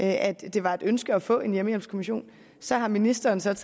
at det var et ønske at få en hjemmehjælpskommission så har ministeren taget